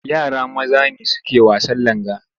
Yara maza ne suke wasan langa.